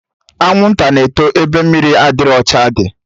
Anwụnta na-eto ebe mmiri adịrọ ọcha dị